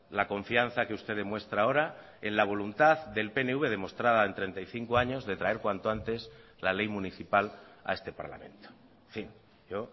la confianza que usted demuestra ahora en la voluntad del pnv demostrada en treinta y cinco años de traer cuanto antes la ley municipal a este parlamento en fin yo